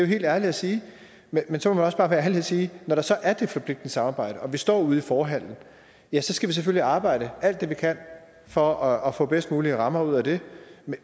helt ærlig at sige men så må vi også bare være ærlige at sige at når der så er det forpligtende samarbejde og vi står ude i forhallen ja så skal vi selvfølgelig arbejde alt det vi kan for at få bedst mulige rammer ud af det